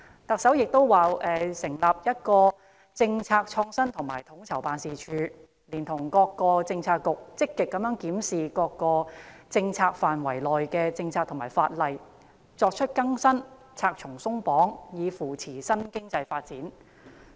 特首又表示，"會要求新成立的'政策創新與統籌辦事處'，連同各政策局積極檢視各政策範疇內的政策和法例，作出更新，'拆牆鬆綁'，以扶助新經濟發展"。